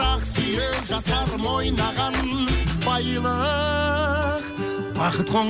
ақ сүйек жастарым ойнаған байлық бақыт